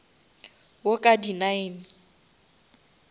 wo ka di nine